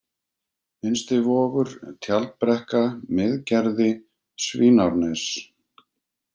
Innstivogur, Tjaldbrekka, Miðgerði, Svínárnes